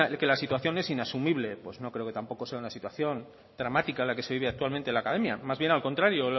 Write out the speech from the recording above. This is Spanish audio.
que la situación es inasumible pues no creo que tampoco sea una situación dramática la que se vive actualmente en la academia más bien al contrario